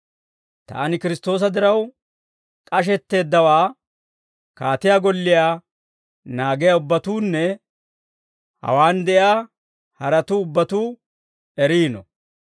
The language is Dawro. Taani Kiristtoosa diraw k'ashetteeddawaa, kaatiyaa golliyaa naagiyaa ubbatuunne hawaan de'iyaa haratuu ubbatuu eriino.